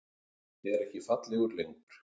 Er ekki fallegur lengur.